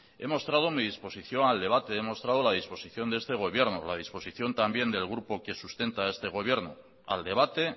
he mostrado mi disposición al debate he mostrado la disposición de este gobierno la disposición también del grupo que sustenta este gobierno al debate